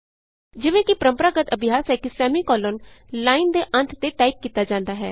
ਜਿਵੇਂ ਕਿ ਪਰੰਪਰਾਗਤ ਅਭਿਆਸ ਹੈ ਕਿ ਸੈਮੀਕੋਲਨ ਲਾਈਨ ਦੇ ਅੰਤ ਤੇ ਟਾਈਪ ਕੀਤਾ ਜਾਂਦਾ ਹੈ